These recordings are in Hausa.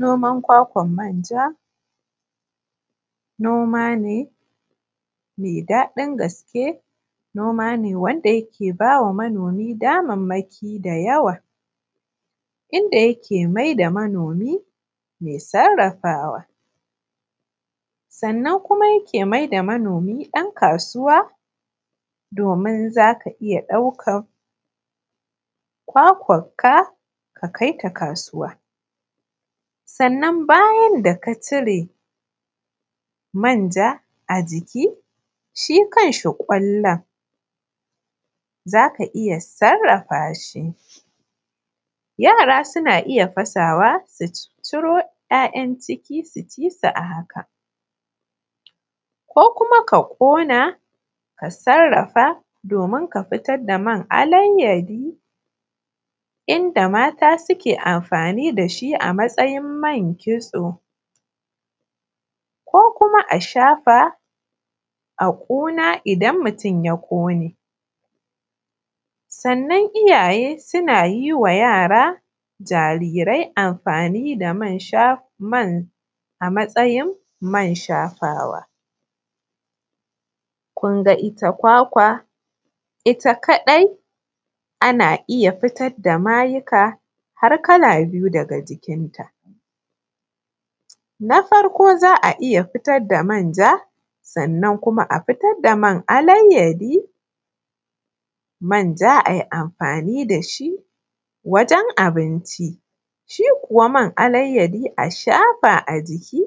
Noman kwakwan manja, noma ne me dadin gaske wanda yake ba wa manomi damammaki da yawa inda yake maida manomi mai sarrafawa, sannan kuma yake mai da manomi ɗan kasuwa domin za ka iya ɗaukan kwakwanka ka kai ta kasuwa sannan bayan da ka cire manja a ciki shi kanshi kwallon, za ka iya sarrafa shi yara suna iya fasawa su cire kwallon ciki su ci su a haka ko kuma ka ƙona ka sarrafa domin ka fitar da man alayyadi wanda mata suke amfani da shi a matsayin man kitso ko kuma a shafa a kuna idan mutun ya ƙone. Sannan iyaye mata suna yi ma yara jarirai amfani da man a matsayin man shafawa, kenan ita kwakwar ita kadai ana iya fitar da mayuka kala-kala daga jikin ta za a iya fitar da manja, sannan kuma a fitar da man alayyadi, manja a yi amfani da shi wajen abinci, shiko man alayyadi a shafa a jiki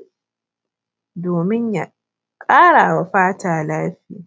domin ya ƙara wa fata daɗi.